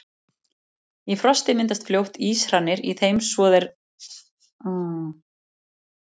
Í frosti myndast fljótt íshrannir í þeim svo að þær leggur venjulega í fyrstu frostum.